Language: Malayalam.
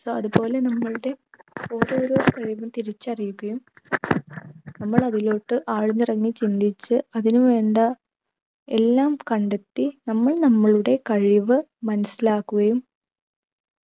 so അത്പോലെ നമ്മളുടെ ഓരോരോ കഴിവും തിരിച്ചറിയുകയും നമ്മൾ അതിലോട്ട് ആഴ്ന്നിറങ്ങി ചിന്തിച്ച് അതിനു വേണ്ട എല്ലാം കണ്ടെത്തി നമ്മൾ നമ്മളുടെ കഴിവ് മനസ്സിലാക്കുകയും